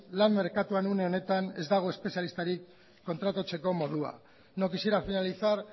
lan merkatuan une honetan ez dago espezialistarik kontratatzeko moduan no quisiera finalizar